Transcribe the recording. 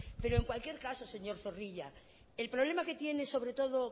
pero en cualquier caso señor zorrilla el problema que tiene sobre todo